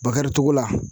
Bakari cogo la